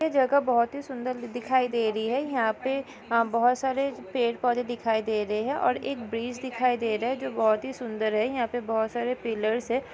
ए जगह बहुत ही सुंदर दिखाई दे रही है। यहा पे बहुत सारे पेड़ पौधे दिखाई दे रहे है और एक ब्रिज दिखाई दे रहा जो बहुत ही सुंदर है। यहा पे बहुत सारे पिल्लर्स है।